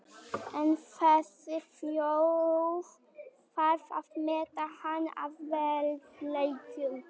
En þessi þjóð þarf að meta hann að verðleikum.